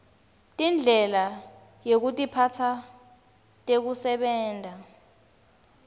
tindlela yekutiphatsa tekusebenta